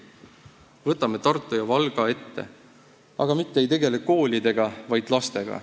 Võtame ette Tartu ja Valga, aga mitte ei tegele koolidega, vaid lastega.